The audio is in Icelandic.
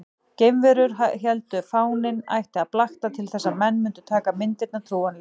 Geimverurnar héldu að fáninn ætti að blakta til þess að menn mundu taka myndirnar trúanlegar.